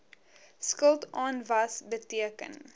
skuld aanwas beteken